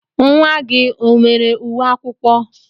Nwa gị o nwere uwe akwụkwọ?